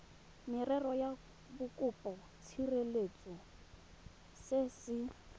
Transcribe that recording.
merero ya bokopatshireletso se se